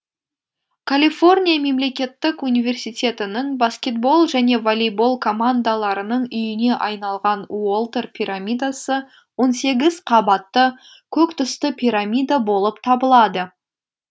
калифорния мемлекеттік университетінің баскетбол және волейбол командаларының үйіне айналған уолтер пирамидасы он сегіз қабатты көк түсті пирамида болып табылады